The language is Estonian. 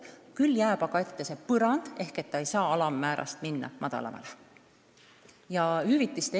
Samas jääb ette see põrand, et puhkusetasu ei saa minna töötasu alammäärast madalamale.